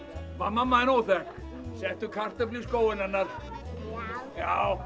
mamma þín óþekk settu kartöflu í skóinn hennar já